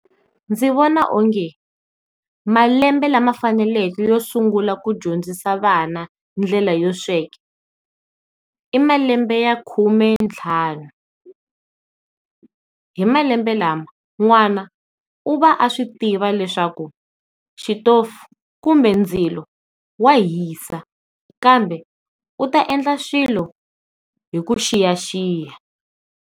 Ndzi vona o nge malembe lama faneleke yo sungula ku dyondzisa vana ndlela yo sweka i malembe ya khume ntlhanu, hi malembe lama n'wana u va a swi tiva leswaku xitofu kumbe ndzilo wa hisa kambe u ta endla swilo hi ku xiyaxiya.